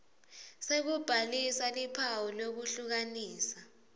sekubhalisa luphawu lwekuhlukanisa